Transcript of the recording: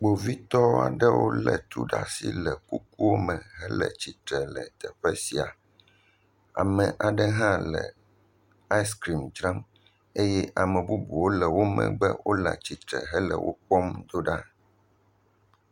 kpovitɔ aɖewo le tu ɖa'si hele kuku me la'tsitre le teƒe sia ame aɖe hã le ice cream ɖe ta eye ame bubuwo le wó megbe wóle'tsitsre hele wó kpɔm dó ɖa